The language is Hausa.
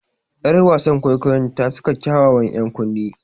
Yar wasan kwaikwayon ta saka kyawawan ‘yan kunne.